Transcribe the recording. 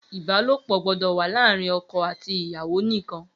Ibàlópọ gbọdọ wà laarin ọkọ ati iyawo nikan.